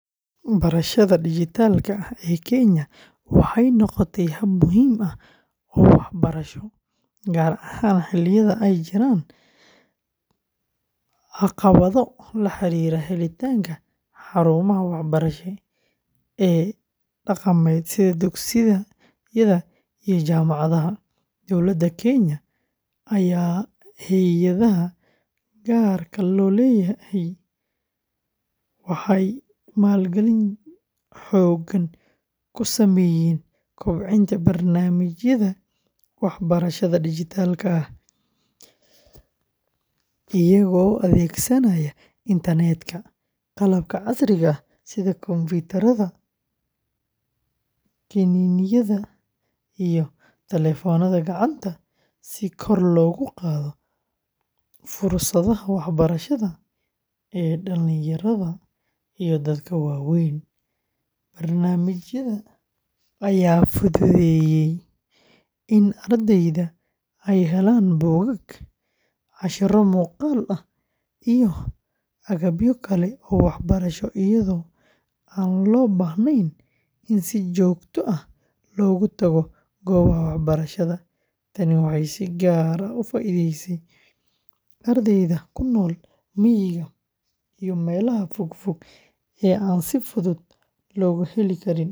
Barashada dhijitaalka ah ee Kenya waxay noqotay hab muhiim ah oo waxbarasho, gaar ahaan xilliyada ay jiraan caqabado la xiriira helitaanka xarumaha waxbarasho ee dhaqameed sida dugsiyada iyo jaamacadaha. Dowladda Kenya iyo hay'adaha gaarka loo leeyahay waxay maalgelin xoogan ku sameeyeen kobcinta barnaamijyada waxbarashada dhijitaalka ah, iyagoo adeegsanaya internet-ka, qalabka casriga ah sida kombiyuutarada, kiniiniyada, iyo taleefannada gacanta si kor loogu qaado fursadaha waxbarasho ee dhallinyarada iyo dadka waaweynba. Barnaamijyada ayaa fududeeyay in ardayda ay helaan buugaag, casharro muuqaal ah, iyo agabyo kale oo waxbarasho iyadoo aan loo baahnayn in si joogto ah loogu tago goobaha waxbarashada. Tani waxay si gaar ah u faa’iideysay ardayda ku nool miyiga iyo meelaha fog fog ee aan si fudud loogu heli karin.